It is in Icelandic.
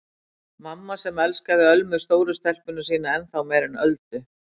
Mamma sem elskaði Ölmu stóru stelpuna sína ennþá meira en Öldu.